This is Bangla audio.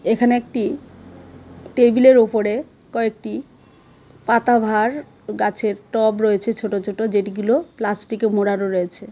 এখানে একটি টেবিলের উপরে কয়েকটি পাতাবাহার গাছের টব রয়েছে ছোটো ছোটো যেগুলো প্লাস্টিকে মোড়ানো রয়েছে.